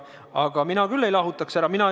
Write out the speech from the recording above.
Aga mina küll lastelt vastutust ei võtaks.